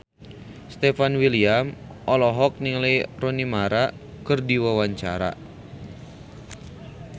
Stefan William olohok ningali Rooney Mara keur diwawancara